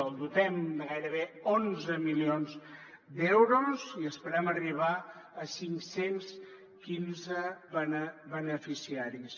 el dotem amb gairebé onze milions d’euros i esperem arribar a cinc cents i quinze beneficiaris